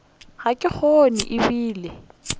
ga ke gane e bile